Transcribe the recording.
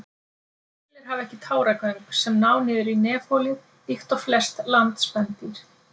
Selir hafa ekki táragöng sem ná niður í nefholið líkt og flest landspendýr.